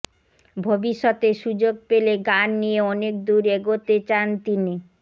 ভবিষ্যতে সুযোগ পেলে গান নিয়ে অনেক দূর এগোতে চান তিনি